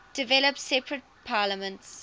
developed separate parliaments